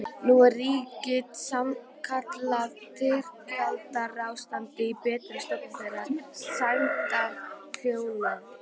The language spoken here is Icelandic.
Nú ríkti sannkallað styrjaldarástand í betri stofu þeirra sæmdarhjóna